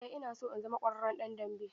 Eh ina so in zama ƙwararren ɗan dambe.